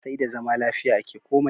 Sai da zama lafiya ake komai.